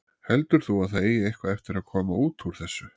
Heldur þú að það eigi eitthvað eftir að koma út úr þessu?